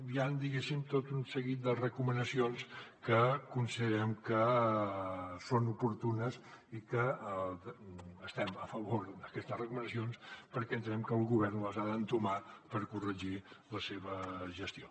bé hi ha diguem ne tot un seguit de recomanacions que considerem que són oportunes i que estem a favor d’aquestes recomanacions perquè entenem que el govern les ha d’entomar per corregir la seva gestió